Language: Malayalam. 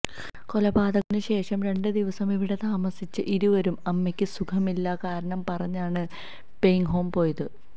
കൊലപാതകത്തിന് ശേഷം രണ്ട് ദിവസം ഇവിടെ താമസിച്ച ഇരുവരും അമ്മക്ക് സുഖമിെല്ലന്ന കാരണം പറഞ്ഞാണ് പേയിങ്ഹോം വിട്ടത്